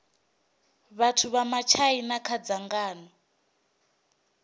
vhathu vha matshaina kha dzangano